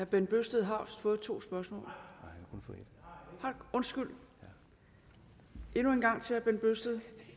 bent bøgsted har fået to spørgsmål har han undskyld endnu